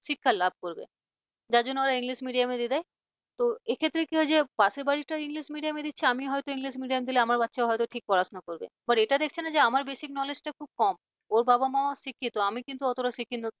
শিক্ষা লাভ করবে যার জন্য ওরা english medium দিয়ে দেয় তো এক্ষেত্রে কি হয় যে পাশের বাড়িরটা english medium দিচ্ছে আর আমি হয়তো english medium দিলে আমার বাচ্চাও হয়তো ঠিক পড়াশোনা করবে এটা দেখছে না যে আমার basic knowledge টা খুব কম ওর বাবা-মাও শিক্ষিত আমি কিন্তু অতটা শিক্ষিত